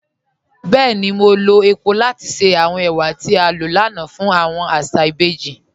Bẹẹ̀ni, mo lọ epo lati ṣẹ awọn èwà tí a lọ lánà fun awọn àṣà ìbèjì.